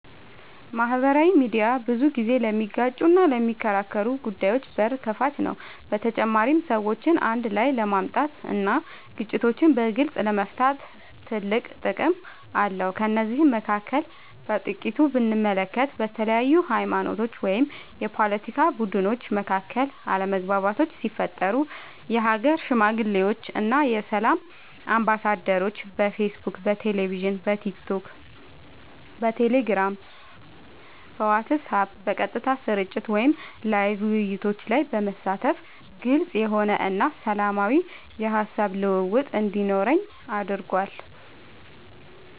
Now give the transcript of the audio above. ማህበራዊ ሚድያ ብዙ ጊዜ ለሚጋጩና ለሚከራከሩ ጉዳዮች በር ከፋች ነው በተጨማሪም ሰዎችን አንድ ላይ ለማምጣት እና ግጭቶችን በግልፅ ለመፍታት ትልቅ ጥቅም አለው ከነዚህም መካከል በጥቂቱ ብንመለከት በተለያዩ ሀይማኖቶች ወይም የፓለቲካ ቡድኖች መካከል አለመግባባቶች ሲፈጠሩ የሀገር ሽማግሌዎች እና የሰላም አምባሳደሮች በፌስቡክ በቴሌቪዥን በቲክቶክ በቴሌግራም በዋትስአብ በቀጥታ ስርጭት ወይም ላይቭ ውይይቶች ላይ በመሳተፍ ግልፅ የሆነ እና ሰላማዊ የሀሳብ ልውውጥ እንዲኖር አድርጓል።